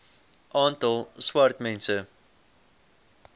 aantal swart mense